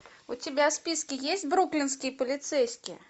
у тебя в списке есть бруклинские полицейские